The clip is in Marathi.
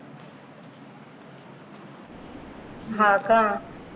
हा का